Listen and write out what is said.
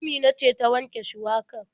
Amina ce ta wanke shuwakar.